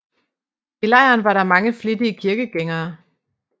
I lejren var der mange flittige kirkegængere